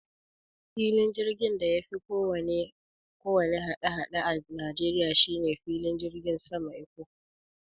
Filin jirgin da yafi kowanne hada-hada a Nigeria shine filin jirgin saman Ikko